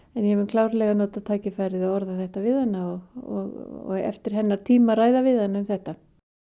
ég mun klárlega nota tækifærið og orða þetta við hana og eftir hennar tíma að ræða við hana um þetta